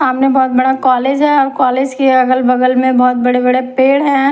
सामने बोहोत बड़ा कॉलेज है और कॉलेज के अगल बगल में बोहोत बड़े बड़े पेड़ है।